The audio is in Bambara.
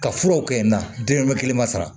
Ka furaw kɛ na den bɛ kelen ma sara